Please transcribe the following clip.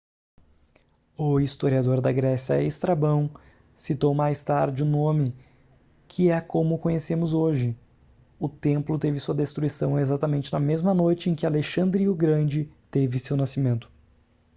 o historiador da grécia estrabão citou mais tarde o nome que é como o conhecemos hoje o templo teve sua destruição exatamente na mesma noite em que alexandre o grande teve seu nascimento